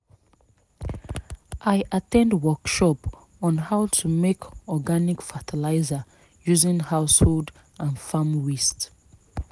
i at ten d workshop on how to make organic fertiliser using household and farm waste